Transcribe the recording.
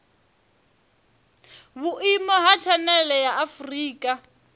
vhuimo ha tshanele ya afurika